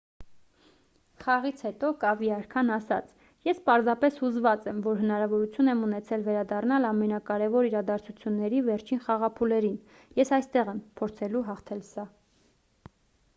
խաղից հետո կավի արքան ասաց․«ես պարզապես հուզված եմ որ հնարավորություն եմ ունեցել վերադառնալ ամենակարևոր իրադարձությունների վերջին խաղափուլերին։ ես այստեղ եմ՝ փորձելու հաղթել սա»։